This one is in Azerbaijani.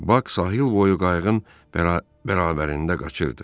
Bak sahilboyu qayıqın bərabərində qaçırdı.